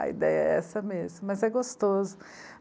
A ideia é essa mesmo, mas é gostoso.